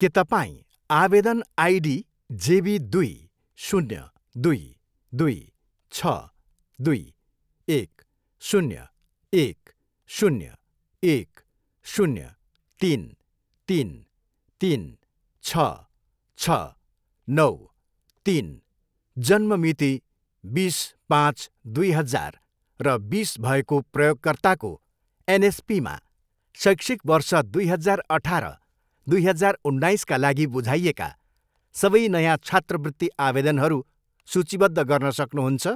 के तपाईँँ आवेदन आइडी जेबी दुई, शून्य, दुई, दुई, छ, दुई, एक, शून्य, एक, शून्य, एक, शून्य, तिन, तिन, तिन, छ, छ, नौ, तिन जन्म मिति बिस, पाँच, दुई हजार र बिस भएको प्रयोगकर्ताको एनएसपीमा शैक्षिक वर्ष दुई हजार अठार, दुई हजार उन्नाइसका लागि बुझाइएका सबै नयाँ छात्रवृत्ति आवेदनहरू सूचीबद्ध गर्न सक्नुहुन्छ?